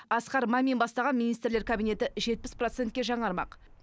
асқар мамин бастаған министрлер кабинеті жетпіс процентке жаңармақ